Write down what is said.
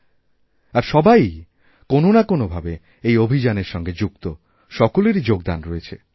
কিন্তু সবাইই কোনও না কোনও ভাবে এই অভিযানের সঙ্গেযুক্ত সকলেরই যোগদান রয়েছে